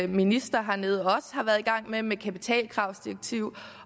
minister hernede også har været i gang med med kapitalkravsdirektiv